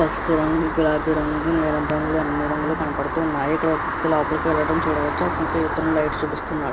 పసుపు రంగు గులాబీ రంగు నీలం రంగు అన్నీ రంగులు కనపడుతున్నాయి. ఇక్కడ ఒక వ్యక్తి లోపలికి వెళ్ళటం చూడవచ్చు అతనికి ఇతను లైట్ చూపిస్తున్నాడు.